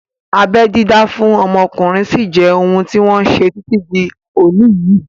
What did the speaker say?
Abẹ́ dídá fún ọmọkùnrin sí jẹ́ ohun tí wọ́n ṣe títí di òní yìí